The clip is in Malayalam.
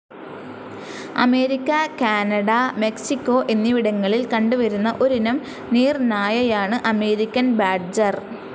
അമേരിക്ക, കാനഡ, മെക്സിക്കോ, എന്നിവിടങ്ങളിൽ കണ്ട് വരുന്ന ഒരിനം നീർനായയാണ് അമേരിക്കൻ ബാഡ്ജർ.